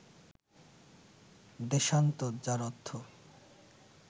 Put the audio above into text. দেশান্তর, যার অর্থ